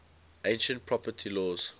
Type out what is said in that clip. ancient property laws